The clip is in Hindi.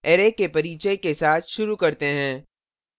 array के परिचय के साथ शुरू करते हैं